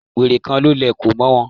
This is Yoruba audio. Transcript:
Wèrè kan ló lẹ̀kọ̀ mọ́ ọn.